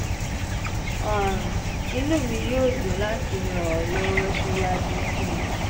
um inú mi yóò dùn láti ràn ọ́ lọ́wọ́ síwájú sí i